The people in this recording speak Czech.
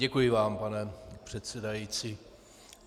Děkuji vám, pane předsedající.